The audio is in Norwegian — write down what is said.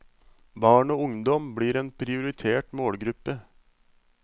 Barn og ungdom blir en prioritert målgruppe.